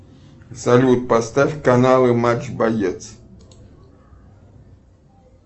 салют поставь каналы матч боец